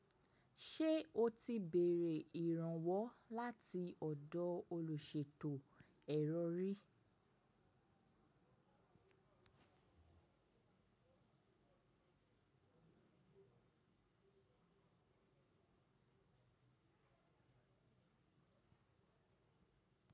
Ṣe o ti béèrè ìrànwọ́ láti ọ̀dọ̀ olùṣètò ẹ̀rọ rí?